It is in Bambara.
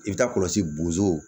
I bɛ taa kɔlɔsi bozow